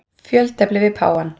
Fjöltefli við páfann.